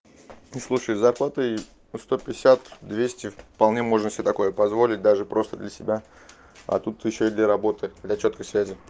не слушай с зарплатой ну сто пятьдесят двести вполне можно себе такое позволить даже просто для себя а тут ещё и для работы для чёткой связи